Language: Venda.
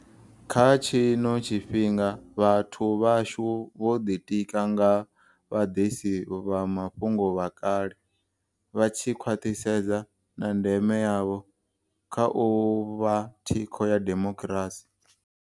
Kha tshino tshifhinga, vhathu vhashu vho ḓitika nga vhaḓisi vha mafhungo vha kale, vha tshi khwaṱhisedza na ndeme yavho kha u vha thikho ya demokirasi.